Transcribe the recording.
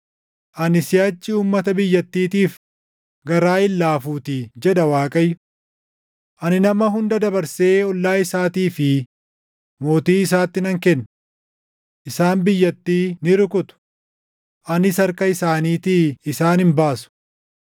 Ani siʼachi uummata biyyattiitiif garaa hin laafuutii” jedha Waaqayyo. “Ani nama hunda dabarsee ollaa isaatii fi mootii isaatti nan kenna. Isaan biyyattii ni rukutu; anis harka isaaniitii isaan hin baasu.”